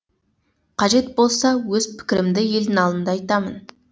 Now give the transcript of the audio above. қажет болса өз пікірімді елдің алдында айтамын